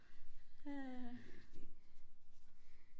øh